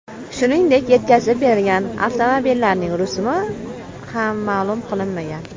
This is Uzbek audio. Shuningdek, yetkazib berilgan avtomobillarning rusumi ham ma’lum qilinmagan.